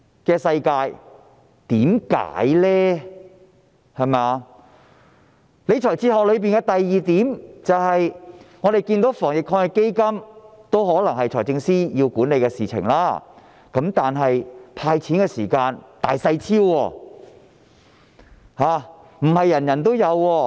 政府理財哲學所反映的第二點是，我們看到在防疫抗疫基金下——這可能是由財政司司長管理——"派錢"時卻"大細超"，不是每位市民也有。